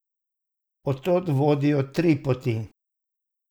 Od tod vodijo tri poti.